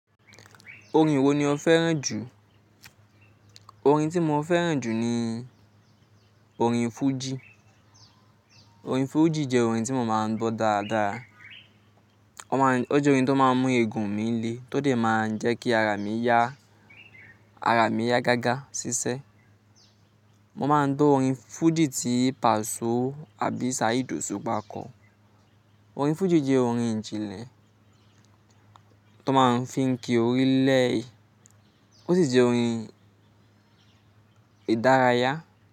Orin wo ni o fẹ́ràn jù? Orin tí mo fẹ́ràn jù ni orin Fuji. Orin Fuji jẹ́ orin tí mo máa ń gbọ́ dáadáa. Wọn maa Ó jẹ́ orin tó máa ń mú egun mi le tó de máa ń jẹ́ kí ara mi yá ga ga ṣiṣẹ́. Mo máa ń gbọ́ orin Fuji tí Pasọ àbí Saheed Osupa kọ. Orin Fuji jẹ́ orin ìjìnlẹ̀ tó máa ń fi ń kí orílè ó sì jẹ́ orin ìdárayá.